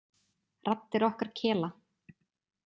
Raddir okkar kela.